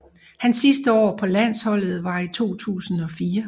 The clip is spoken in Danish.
Hans sidste år på landsholdet var i 2004